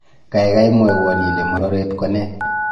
Gaigai mwowon ile mororet konee